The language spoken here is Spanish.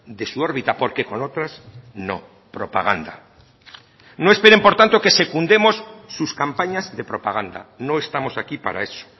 de su órbita porque con otras no propaganda no esperen por tanto que secundemos sus campañas de propaganda no estamos aquí para eso